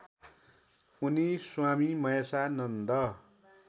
उनी स्वामी महेशानन्द